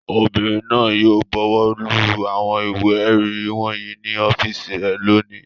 Obìnrin náà yóò bọwọ́lu àwọn ìwé-ẹ̀rí wọ̀nyí ní ọ́fíísì rẹ̀ lónìí.